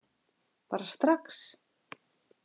Bara strax.